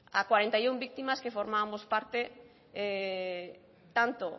a cuarenta y uno víctimas que formábamos parte tanto